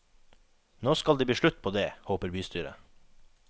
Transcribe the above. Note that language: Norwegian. Nå skal det bli slutt på det, håper bystyret.